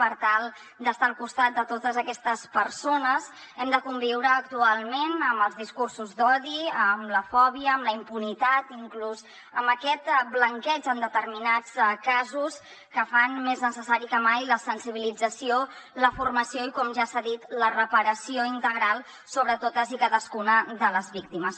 per tal d’estar al costat de totes aquestes persones hem de conviure actualment amb els discursos d’odi amb la fòbia amb la impunitat inclús amb aquest blanqueig en determinats casos que fan més necessàries que mai la sensibilització la formació i com ja s’ha dit la reparació integral sobre totes i cadascuna de les víctimes